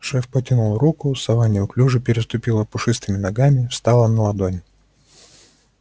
шеф потянул руку сова неуклюже переступила пушистыми ногами встала на ладонь